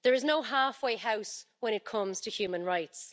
There is no halfway house when it comes to human rights.